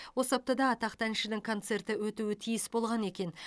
осы аптада атақты әншінің концерті өтуі тиіс болған екен